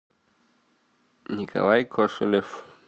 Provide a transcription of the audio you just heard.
николай кошелев